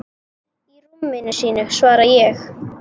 Í rúminu sínu, svara ég.